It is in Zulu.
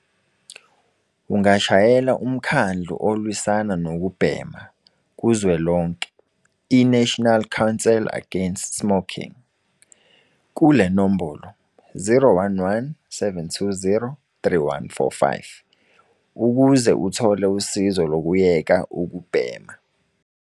Ungashayela Umkhandlu Olwisana Nokubhema Kuzwelonke, i-National Council Against Smoking, kule nombolo- 011 720 3145 ukuze uthole usizo lokuyeka ukubhema.